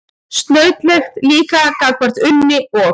Snautlegt líka gagnvart Unni og